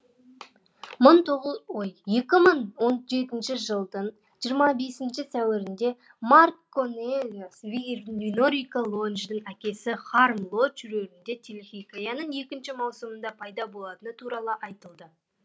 екі мың он жетінші жылдың жиырма бесінші сәуірінде марк конэлиус виир винорика лоджтың әкесі хайрам лодж рөлінде телехикаяның екінші маусымында пайда болатыны туралы айтылды